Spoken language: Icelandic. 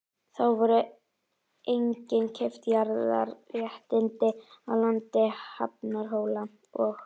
Þá voru einnig keypt jarðhitaréttindi í landi Hrafnhóla og